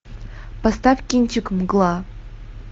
поставь кинчик мгла